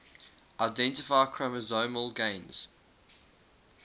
identify chromosomal gains